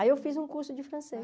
Aí eu fiz um curso de francês.